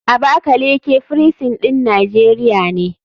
Abakaleke firisin ɗin nijeria ne.